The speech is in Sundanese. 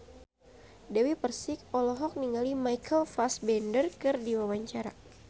Dewi Persik olohok ningali Michael Fassbender keur diwawancara